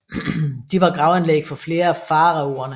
De var gravanlæg for flere af faraoene